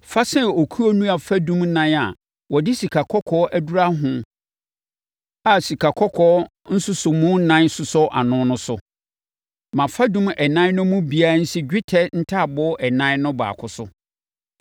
Fa sɛn okuo nnua fadum nan a wɔde sikakɔkɔɔ adura ho a sikakɔkɔɔ nsosɔmu nan sosɔ ano no so. Ma fadum ɛnan no mu biara nsi dwetɛ ntaaboo ɛnan no baako so.